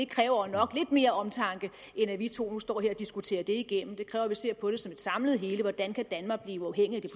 kræver nok lidt mere omtanke end at vi to nu står her og diskuterer det igennem det kræver at vi ser på det som et samlet hele hvordan kan danmark blive uafhængigt af